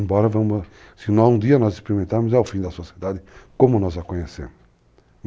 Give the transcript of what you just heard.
Embora, se um dia nós experimentarmos, é o fim da sociedade como nós a conhecemos.